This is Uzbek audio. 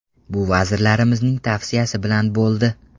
Bu vazirimizning tavsiyasi bilan bo‘ldi.